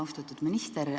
Austatud minister!